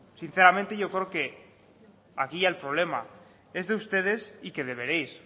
sinceramente yo creo que aquí el problema es de ustedes y que deberéis